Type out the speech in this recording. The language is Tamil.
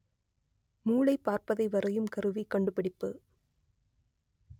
மூளை பார்ப்பதை வரையும் கருவி கண்டுபிடிப்பு